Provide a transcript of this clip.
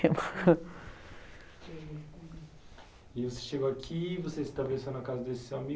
E você chegou aqui, você se estabeleceu na casa desse amigo,